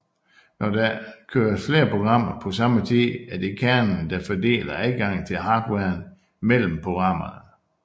Når der køres flere programmer på samme tid er det kernen der fordeler adgangen til hardwaren mellem programmerne